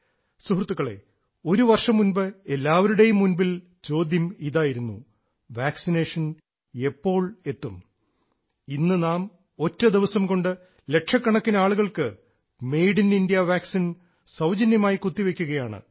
സുഹൃത്തുക്കളേ ഒരുവർഷം മുൻപ് എല്ലാവരുടേയും മുൻപിൽ ചോദ്യം ഇതായിരുന്നു വാക്സിനേഷൻ എപ്പോൾ എത്തും ഇന്ന് നാം ഒറ്റദിവസം കൊണ്ട് ലക്ഷക്കണക്കിന് ആളുകൾക്ക് മെയ്ഡ് ഇൻ ഇന്ത്യ വാക്സിൻ സൌജന്യമായി കുത്തിവെയ്ക്കുകയാണ്